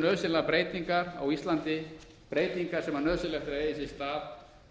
nauðsynlegar breytingar á íslandi breytingar sem nauðsynlegt er að eigi sér stað